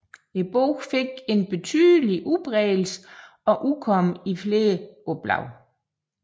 Bogen fik en betydelig udbredelsen og udkom i flere oplag